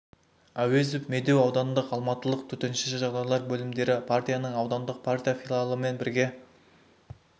ауезов медеу аудандық алматылық төтенше жағдайлар бөлімдері партияның аудандық партия филиалымен бірге